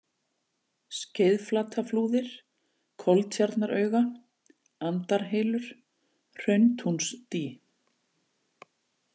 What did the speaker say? Skeiðflataflúðir, Koltjarnarauga, Andarhylur, Hrauntúnsdý